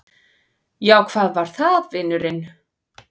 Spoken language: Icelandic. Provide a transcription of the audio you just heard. Já, hvað var það, vinurinn?